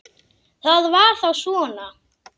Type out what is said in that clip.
Það var þá svona.